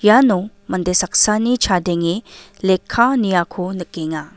iano mande saksani chadenge lekka niako nikenga.